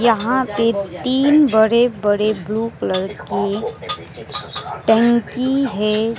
यहां पर तीन बड़े बड़े ब्लू कलर की टंकी है।